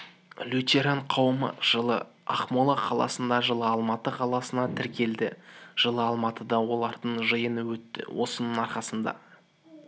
лютеран қауымы жылы ақмола қаласында жылы алматы қаласына тіркелді жылы алматыда олардың жиыны өтті осының арқасында